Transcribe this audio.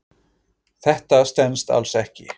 Þetta stenst alls ekki.